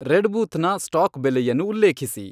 Redbooth ನ stock ಬೆಲೆಯನ್ನು ಉಲ್ಲೇಖಿಸಿ